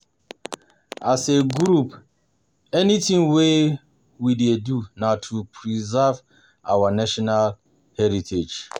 As a group anything wey we dey do na to to preserve our national heritage